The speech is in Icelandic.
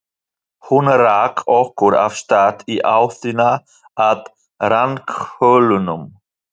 Hún rak okkur af stað í áttina að ranghölunum.